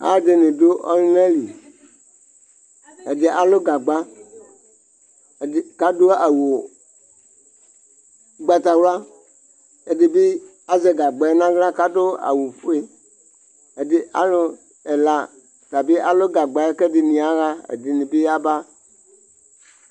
Alʋɛdɩnɩ dʋ ɔlʋna li : ɛdɩ alʋ gagba, ɛdɩ k'adʋ awʋ ʋgbatawla ; ɛdɩ bɩ azɛ gagbaɛ n'aɣla k'adʋ awʋfue Ɛdɩ alʋ ɛla ata bɩ alʋ gagbaɛ k'ɛdɩnɩ yaɣa , ɛdɩnɩ bɩ yaba